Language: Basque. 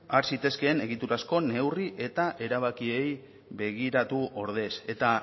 has zitezkeen egiturazko neurri eta erabakiei begiratu ordez eta